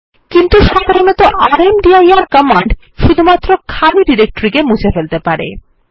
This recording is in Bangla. কিন্তু সাধারণত রামদির কমান্ড শুধুমাত্র খালি ডিরেক্টরি কে মুছে ফেলতে পারে